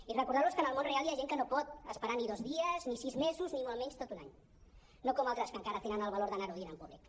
i recordar·los que en el món real hi ha gent que no pot esperar ni dos dies ni sis mesos ni molt menys tot un any no com altres que encara tenen el valor d’anar·ho dient en públic